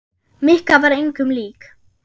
Mikka var engum lík.